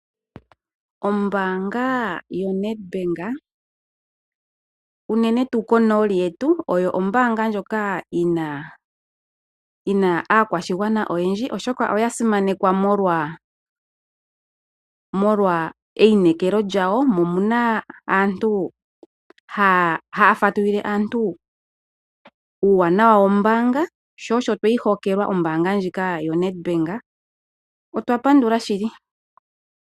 Ombaanga yoNedbank, unene tu konooli yetu oyo ombaanga ndjoka yina aakwashigwana oyendji, oshoka oya simanekwa molwa eyinekelo lyawo, mo omuna aantu haya fatululile aantu uuwanawa wombaanga, sho osho tweyi hokelwa ombaanga ndjika yo Nedbank. Otwa pandula shili.